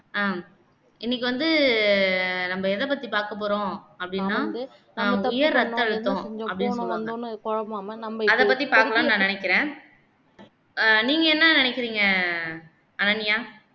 அஹ் இன்னைக்கு வந்து நம்ம எத பத்தி பார்க்கப் போறோம் அப்படின்னா உயர் ரத்த அழுத்தம் அப்படீன்னு சொல்லுவாங்க அதை பத்தி பாக்கலாம்னு நான் நினைக்கிறேன் ஆஹ் நீங்க என்ன நினைக்கிறீங்க அனன்யா